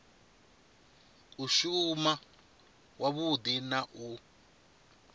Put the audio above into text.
u shuma wavhudi na u